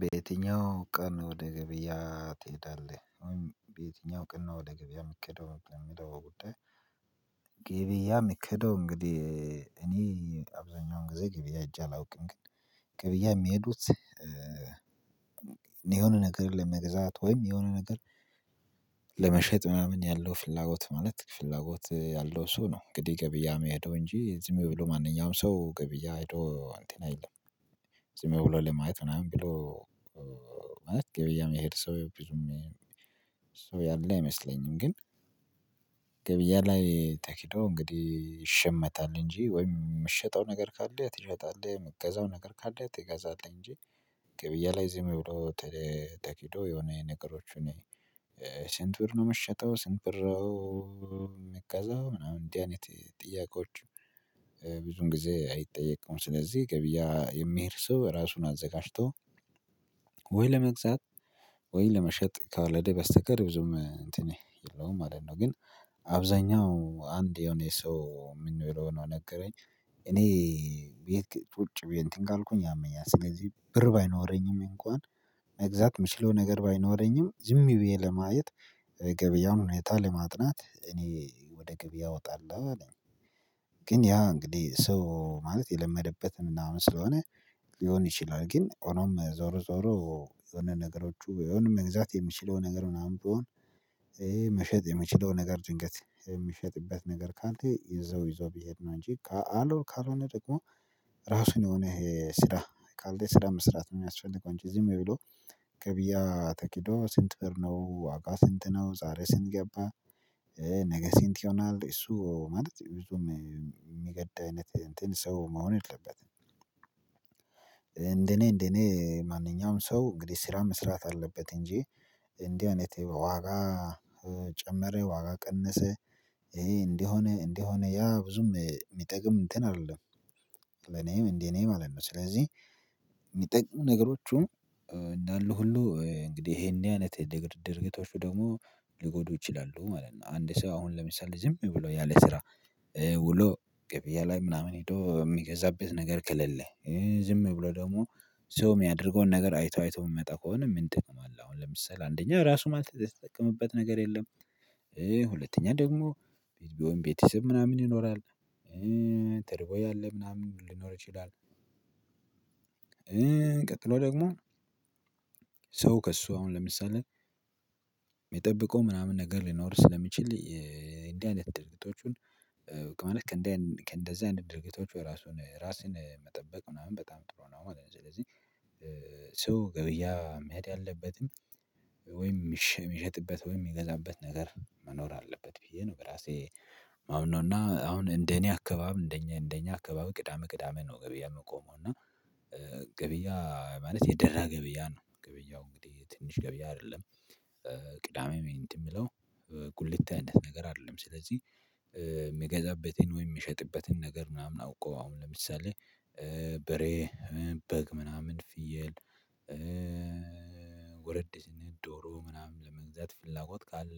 በየትኛው ቀን ወደ ገበያ ትሄዳለህ? በየትኛው ቀን ወደ ገበያ የምትከደው የምትለው ጉዳይ። ገበያ የሚኬደው እንግዲህ እኔ አብዛኛውን ጊዜ ገበያ ሂጄ አላውቅም። ግን ገበያ የሚሄዱት የሆነ ነገር ለመገዛት ወይም የሆነ ነገር ለመሸጥ ምናምን ያለው ፍላጎት ማለት ፍላጎት ያለው ሰው ነው። እንግዲህ ገብያ የሚሄደው እንጂ ዝም ብሎ ማንኛውም ሰው ገበያ ሄዶ አንትን አይልም። ዝም ብሎ ለማየት ምናምን ብሎ ማለት ገበያ የሚሄድ ሰው ያለ አይመስለኝም። ግን ገበያ ላይ ተኪዶ እንግዲህ ይሸመታል እንጂ ወይም የምትሸጠው ነገር ካለ ትሸጣለህ የምትገዛው ነገር ካለ ትገዛለህ። እንጂ ገበያ ላይ ዝም ብሎ ተኪዶ የሆነ ነገሮች እኔ ብር ነው የምትሸጠው ሰንት ብር የምትገዛው ምናምን እንዲህ አይነት ጥያቄዎች ብዙን ጊዜ አይጠየቀም። ስለዚህ ገበያ የሚሄድ ሰው ራሱን አዘጋጅቶ ወይ ለመግዛት ወይ ለመሸጥ ካልሄደ በስተቀር ብዙም እንትን የለውም ማለት ነው። ግን አብዛኛው አንድ የሆነ ሰው የምንለው ነገረኝ እኔ ቁጪ ብዬ እንትን ካልኩኝ ያመኛል ስለዚህ ብር ባይኖረኝም እንኳን መግዛት የምችለው ነገር ባይኖረኝም ዝም ብዬ ለማየት ገበያውን ሁኔታ ለማጥናት እኔ ወደ ገበያ እወጣለሁ አለኝ። ግን ያ እንግዲህ ሰው ማለት የለመደበት ምናምን ስለሆነ ሊሆን ይችላል። ግን ሆኖም ዞሮ ዞሮ ነገሮቹ የሆነ መግዛት የምችለው ነገር ምናምን ቢሆን ይሄ መሸጥ የምችለው ነገር ድንገት የሚሸጥበት ነገር ካለ ይዘው ይዘው ቢሄድ ነው። እንጂ ካልሆነ ደግሞ ራሱን የሆነ ይሄ ስራ ካልተሰራ መስራት ነው የሚያስፈልገው። እንጂ ዝም ብሎ ገብያ ተኪዶ ስንት ብር ነው ዋጋ ስንት ነው ዛሬ ስንት ገባ ነገ ስንት ይሆናል እሱ ማለት ብዙም የሚገድ አይነት እንትን ሰው መሆን የለበትም። እንደኔ እንደኔ ማንኛውም ሰው እንግዲህ ስራ መስራት አለበት እንጂ እንዲህ አይነት ዋጋ ጨመረ ዋጋ ቀነሰ ይሄ እንደሆነ እንደሆነ ያ ብዙም የሚጠቅም እንትን አይደለም። ለኔም እንዴ እኔ ማለት ነው ስለዚህ የሚጠቅሙ ነገሮቹ እንዳሉ ሁሉ እንግዲህ ይሄን አይነት ድርጊቶቹ ደግሞ ሊጎዱ ይችላሉ ማለት ነው። አንድ ሰው አሁን ለምሳሌ ዝም ብሎ ያለ ስራ ውሎ ገብያ ላይ ምናምን ሄዶ የሚገዛበት ነገር ከሌለ ዝም ብሎ ደግሞ ሰው የሚያደርገውን ነገር አይቶ አይቶ የሚመጣ ከሆነ ምን ጥቅም አለ አሁን ለምሳሌ አንደኛ ራሱ ማለት የምትጠቀምበት ነገር የለም። ሁለተኛ ደግሞ ቤት ቢሆን ቤተሰብ ምናምን ይኖራል ተርቦ ያለ ምናምን ሊኖር ይችላል። እቀጥሎ ደግሞ ሰው ከእሱ አሁን ለምሳሌ የሚጠብቀው ምናምን ነገር ሊኖር ስለሚችል እንደዚህ አይነት ድርጊቶቹን ማለት ከእንደዚህ አይነት ድርጊቶች ራሱን ራሴን መጠበቅ ምናምን በጣም ጥሩ ነው ማለት ነው። ስለዚህ ሰው ገብያ መሄድ ያለበትም ወይም የሚሸጥበት ወይም የሚገዛበት ነገር መኖር አለበት ብዬ ነው። በራሴ ማምነውና አሁን እንደኔ አካባቢ እንደኛ እንደኛ አካባቢ ቅዳሜ ቅዳሜ ነው ገበያ የምቆመው እና ገበያ ማለት የደራ ገበያ ነው ገበያው እንግዲህ ትንሽ ገበያ አይደለም። ቅዳሜ እንዴ የምለው ጉልት ነገር አይደለም። ስለዚህ የምገዛበትን ወይ የምሸጥበትን ነገር ምናምን አውቆ አሁን ለምሳሌ በሬ በግ ምናምን ፍየል ወረድ ሲል ዶሮ ምናምን ለመግዛት ፍላጎት ካለ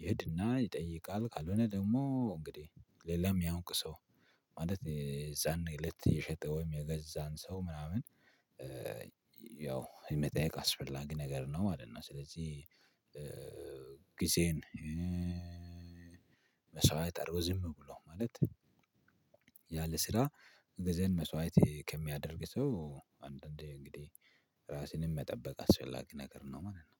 ይሄድና ይጠይቃል ካልሆነ ደግሞ እንግዲህ ሌላም የሚያውቅ ሰው ማለት የዛኔ እለት የሸጠውም የገዛን ሰው ምናምን ያው የመጠየቅ አስፈላጊ ነገር ነው ማለት ነው። ስለዚህ ጊዜን መስዋዕት አድርጎ ዝም ብሎ ማለት ያለ ስራ ጊዜን መስዋዕት ከሚያደርግ ሰው አንዳንዴ እንግዲህ ራስንም መጠበቅ አስፈላጊ ነገር ነው ማለት ነው።